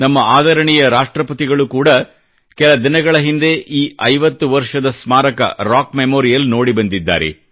ನಮ್ಮ ಆದರಣೀಯ ರಾಷ್ಟ್ರಪತಿಗಳು ಕೂಡಾ ಕೆಲ ದಿನಗಳ ಹಿಂದೆ ಈ 50 ವರ್ಷದ ಸ್ಮಾರಕ ರಾಕ್ ಮೆಮೋರಿಯಲ್ ನೋಡಿ ಬಂದಿದ್ದಾರೆ